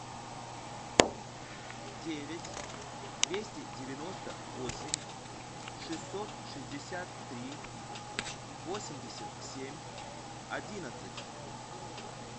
девять двести девяносто восемь шестьсот шестьдесят три восемьдесят семь одиннадцать